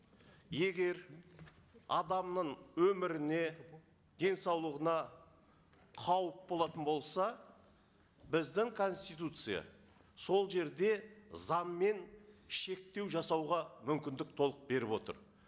егер адамның өміріне денсаулығына қауіп болатын болса біздің конституция сол жерде заңмен шектеу жасауға мүмкіндік толық беріп отыр